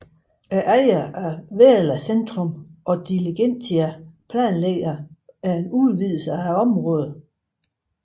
Ejerne af Väla centrum og Diligentia planlægger udvidelser i området